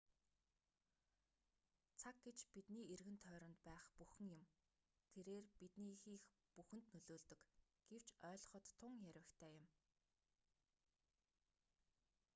цаг гэж бидний эргэн тойронд байх бүхэн юм тэрээр бидний хийх бүхэнд нөлөөлдөг гэвч ойглгоход тун ярьвигтай юм